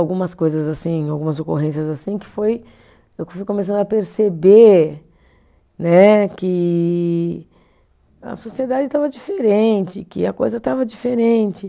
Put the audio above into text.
algumas coisas assim, algumas ocorrências assim, que foi, eu fui começando a perceber né que a sociedade estava diferente, que a coisa estava diferente.